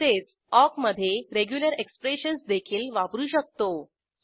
तसेच ऑक मधे regular expressions देखील वापरू शकतो